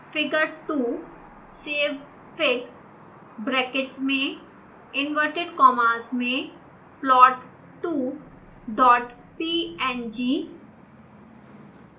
figure2